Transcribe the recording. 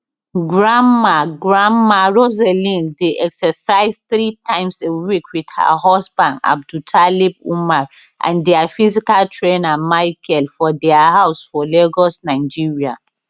grandma grandma rosalind dey exercise three times a week wit her husband abdultalib umar and dia physical trainer michael for dia house for lagos nigeria